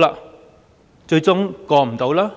但最終無法通過。